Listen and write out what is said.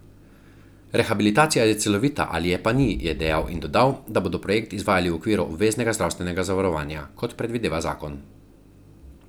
Rehabilitacija je celovita ali je pa ni, je dejal in dodal, da bodo projekt izvajali v okviru obveznega zdravstvenega zavarovanja, kot predvideva zakon.